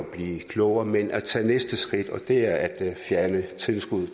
at blive klogere men at tage næste skridt og det er at fjerne tilskuddet